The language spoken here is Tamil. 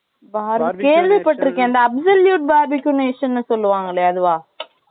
இந்த absolute barbecues ன்னு சொல்லுவாங்க இல்லையா, அதுவா?